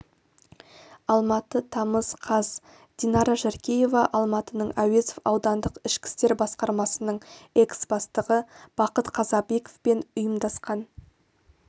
алматы тамыз қаз динара жаркеева алматының әуезов аудандық ішкі істер басқармасының экс-бастығы бақыт қасабеков пен ұйымдасқан